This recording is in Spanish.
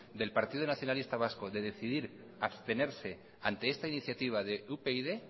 del partido nacionalista vasco de decidir abstenerse ante esta iniciativa de upyd